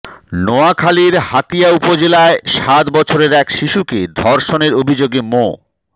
নোয়াখালীর হাতিয়া উপজেলায় সাত বছরের এক শিশুকে ধর্ষণের অভিযোগে মো